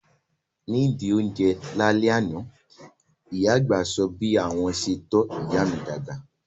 Ní ìdí ó ń jẹ lá lẹ́ àná, ìyá àgbà sọ bí àwọn ṣe tọ́ ìyá mi dàgbà